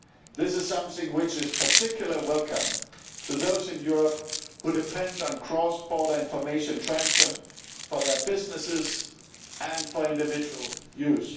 This is something which is particularly welcome to those in Europe who depend on cross border information transfer for their businesses and for individual use.